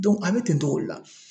a bɛ ten togo de la.